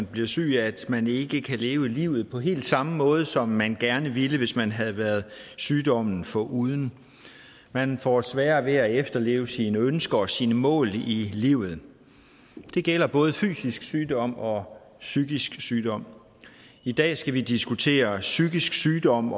blive syg at man ikke kan leve livet på helt samme måde som man gerne ville hvis man havde været sygdommen foruden man får sværere ved at efterleve sine ønsker og sine mål i livet det gælder både fysisk sygdom og psykisk sygdom i dag skal vi diskutere psykisk sygdom